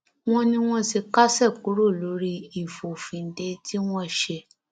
wọn ní wọn ti kásẹ kúrò lórí ìfòfindè tí wọn ṣe